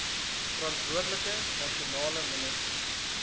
verantwoordelike nasionale minister